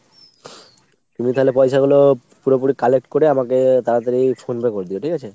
তুমি তালে পয়সাগুলো পুরোপুরি collect করে আমাকে তাড়াতাড়ি phone pay করে দিও ঠিক আছে ?